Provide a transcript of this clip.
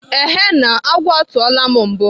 Ehe na, agwọ atụọla m mbu.